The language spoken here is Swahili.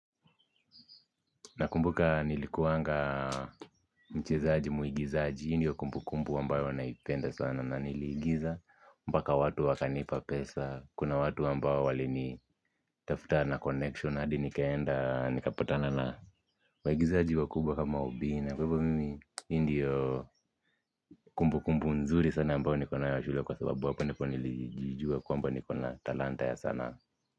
Nakumbuka nilikuanga mchezaji, mwigizaji, hii ndiyo kumbukumbu ambayo naipenda sana na niliigiza mpaka watu wakanipa pesa, kuna watu ambayo walinitafuta na connection ns hadi nikaenda nikapatana na waigizaji wakubwa kama Obina. Kwa hivyo mimi hii ndiyo kumbukumbu nzuri sana ambayo niko nayo ya shule kwa sababu hapo ndio niljua kwamba niko na talanta ya sanaa.